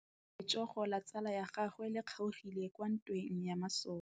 Letsôgô la tsala ya gagwe le kgaogile kwa ntweng ya masole.